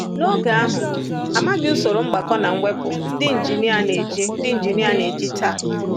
N’oge ahụ, a maghị usoro mgbakọ na mwepụ ndị injinia na-eji ndị injinia na-eji taa.